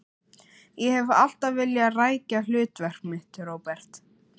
Ég hef alltaf vilja rækja hlutverk mitt, Róbert.